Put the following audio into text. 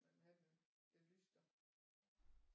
Man vil have den den lystrer